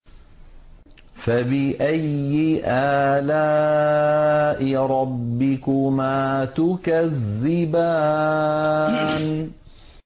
فَبِأَيِّ آلَاءِ رَبِّكُمَا تُكَذِّبَانِ